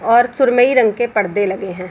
और सुरमई रंग के पर्दे लगे हैं।